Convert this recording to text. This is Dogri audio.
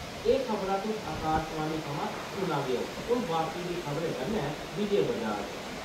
एह् खबरां तुस आकाशवाणी थमां सुना दे ओ, हून बाकी दियें खबरे कन्नै विजय बजाज :